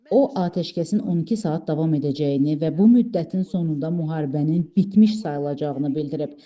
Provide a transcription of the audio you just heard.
O atəşkəsin 12 saat davam edəcəyini və bu müddətin sonunda müharibənin bitmiş sayılacağını bildirib.